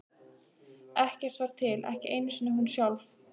Ekkert var til, ekki einu sinni hún sjálf.